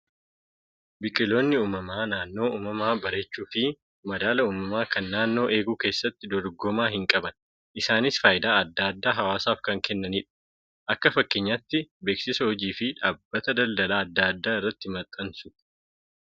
Biqiloonni uumamaa naannoo uumamaa bareechuu fi madaala uumama kan naannoo eeguu keessatti dorgomaa hin qaban. Isaanis fayidaa addaa addaa hawaasaaf kan kennanidha. Akka fakkeenyaatti beeksisa hojii fi dhaabbata daldalaa addaa addaa irratti maxxansuuf.